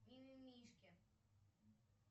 мимимишки